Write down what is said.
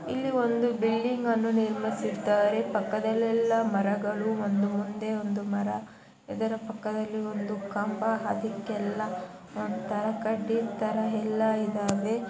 ಇಲ್ಲಿ ಒಂದು ಬಿಲ್ಡಿಂಗ್ ಅನ್ನು ನಿರ್ಮಿಸಿದ್ದಾರೆ ಪಕ್ಕದಲ್ಲಿ ಎಲ್ಲಾ ಮರಗಳು ಒಂದು ಮುಂದೆ ಒಂದು ಮರ ಇದರ ಪಕ್ಕದಲ್ಲಿ ಒಂದು ಕಂಬ ಅದಿಕೆಲ್ಲಾ ತರ ಕಡ್ಡಿ ತರ ಎಲ್ಲಾ ಇದಾವೆ.